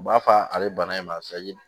U b'a fɔ ale bana in ma sayi